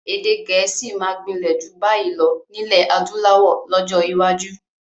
Èdè gẹ̀ẹ́sì máa gbinlẹ ju bayi lọ nilẹ adúláwọ̀ lọ́jọ́ iwájú